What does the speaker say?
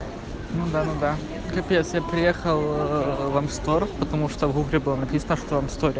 ну да ну да капец я приехал в амстор потому что в гугле было написано что в амсторе